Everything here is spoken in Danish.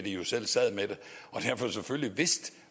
jo selv sad med det og derfor selvfølgelig vidste